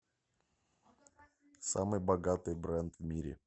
самый богатый бренд в мире